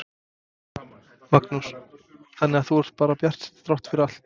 Magnús: Þannig að þú ert bara bjartsýnn þrátt fyrir allt?